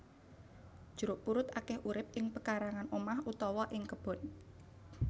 Jeruk purut akeh urip ing pekarangan omah utawa ing kebon